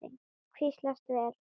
Hvílast vel.